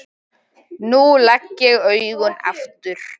Nú legg ég augun aftur.